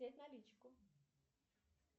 снять наличку